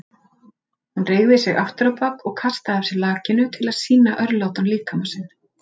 Hún reigði sig afturábak og kastaði af sér lakinu til að sýna örlátan líkama sinn.